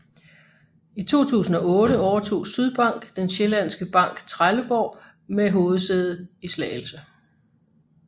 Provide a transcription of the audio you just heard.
I 2008 overtog Sydbank den sjællandske bankTrelleborg med hovedsæde i Slagelse